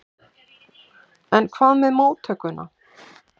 En hvað með móttökuna?